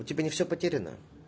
у тебя не всё потеряно